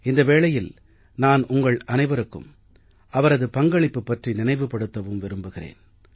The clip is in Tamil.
இந்த வேளையில் நான் உங்கள் அனைவருக்கும் அவரது பங்களிப்பு பற்றி நினைவுபடுத்தவும் விரும்புகிறேன்